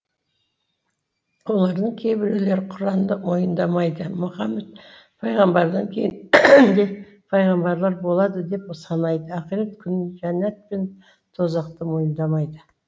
олардың кейбіреулері құранды мойындамайды мұхаммед пайғамбардан кейін де пайғамбарлар болады деп санайды ақырет күнін жәннәт пен тозақты мойындамайды